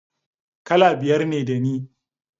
Kala biyar ne da ni